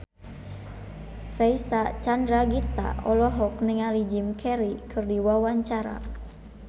Reysa Chandragitta olohok ningali Jim Carey keur diwawancara